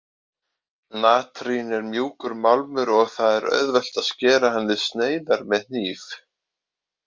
Natrín er mjúkur málmur og það er auðvelt að skera hann í sneiðar með hníf.